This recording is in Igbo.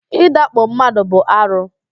Ị dakpo mmadụ bụ arụ